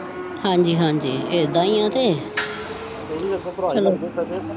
ਹਾਜੀ ਹਾਜੀ ਇਹਦਾ ਹੀ ਆਹ ਤੇ ਤੇ ਇਹ ਵੀ ਅੱਗੋਂ ਭਰਾ ਹੀ ਲੱਗੇ ਸਾਕੇ।